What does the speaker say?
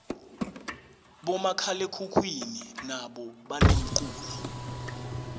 bomakhalekhukhwini nabo banemculo